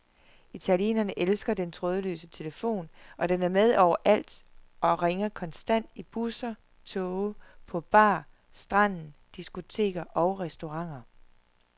Italienerne elsker den trådløse telefon, og den er med overalt og ringer konstant i busser, toge, på bar, stranden, diskoteker og restauranter.